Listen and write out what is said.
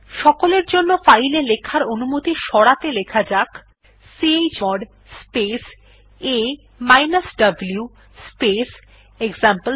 সকলের জন্য ফাইল এ লেখার অনুমতি সরাতে লেখা যাক চমোড স্পেস a উ স্পেস এক্সাম্পল3